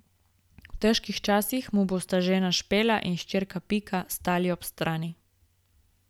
V težkih časih mu bosta žena Špela in hčerka Pika stali ob strani.